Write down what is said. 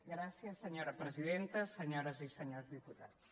gràcies senyora presidenta senyores i senyors diputats